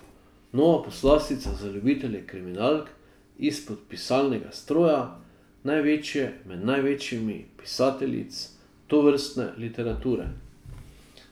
Nova poslastica za ljubitelje kriminalk izpod pisalnega stroja največje med največjimi pisateljic tovrstne literature.